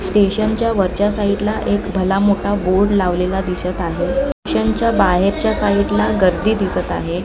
स्टेशनच्या वरच्या साईडला एक भला मोठा बोर्ड लावलेला दिसत आहे स्टेशनचा बाहेरच्या साईटला गर्दी दिसत आहे.